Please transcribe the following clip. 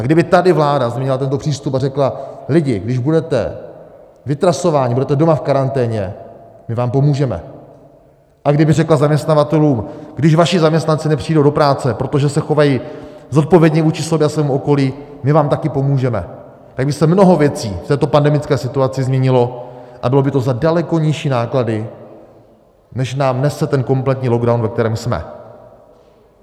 A kdyby tady vláda změnila tento přístup a řekla "lidi, když budete vytrasováni, budete doma v karanténě, my vám pomůžeme" a kdyby řekla zaměstnavatelům "když vaši zaměstnanci nepřijdou do práce, protože se chovají zodpovědně vůči sobě a svému okolí, my vám také pomůžeme", tak by se mnoho věcí v této pandemické situaci změnilo a bylo by to za daleko nižší náklady, než nám nese ten kompletní lockdown, ve kterém jsme.